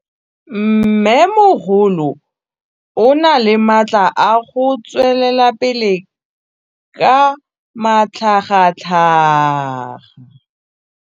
Mmêmogolo o na le matla a go tswelela pele ka matlhagatlhaga.